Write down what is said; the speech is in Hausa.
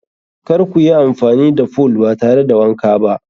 Kar kuyi amfani da fool ba tare da wanka ba.